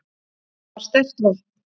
Þetta var sterkt vopn.